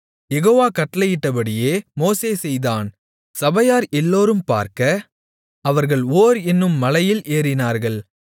யெகோவா கட்டளையிட்டபடியே மோசே செய்தான் சபையார் எல்லோரும் பார்க்க அவர்கள் ஓர் என்னும் மலையில் ஏறினார்கள்